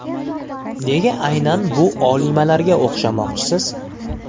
Nega aynan bu olimalarga o‘xshamoqchisiz?